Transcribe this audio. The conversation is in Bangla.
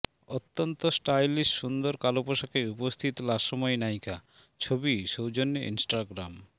অত্যন্ত স্টাইলিশ সুন্দর কালো পোশাকে উপস্থিত লাস্যময়ী নায়িকা ছবি সৌজন্যে ইনস্টাগ্রাম